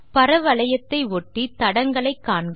பர வளையத்தை ஒட்டிய தடங்களை காண்க